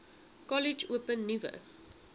kollege open nuwe